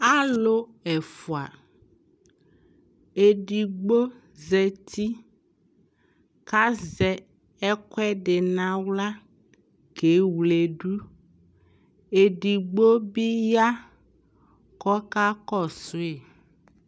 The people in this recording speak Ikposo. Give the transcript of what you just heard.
Alʋ ɛfʋa Edigbo zati kʋ azɛ ɛkʋɛdɩ nʋ aɣla kewledu Edigbo bɩ ya kʋ ɔkakɔsʋ yɩ